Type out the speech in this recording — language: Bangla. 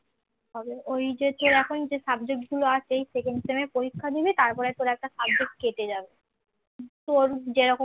তোর যেরকম